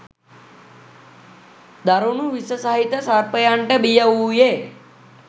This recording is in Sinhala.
දරුණු විස සහිත සර්පයන්ට බිය වූයේ